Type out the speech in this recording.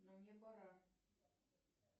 ну мне пора